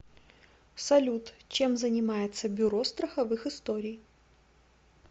салют чем занимается бюро страховых историй